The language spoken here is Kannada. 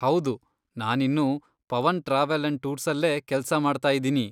ಹೌದು, ನಾನಿನ್ನೂ ಪವನ್ ಟ್ರಾವೆಲ್ ಅಂಡ್ ಟೂರ್ಸಲ್ಲೇ ಕೆಲ್ಸ ಮಾಡ್ತಾಯಿದಿನಿ.